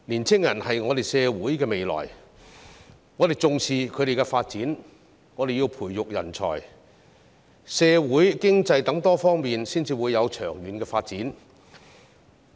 青年人是社會的未來，我們重視他們的發展，我們要培育人才，社會、經濟等多方面才會有長遠的發展。